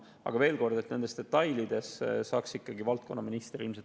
Aga veel kord, nende detailide kohta saab ilmselt ikkagi vastata valdkonna minister.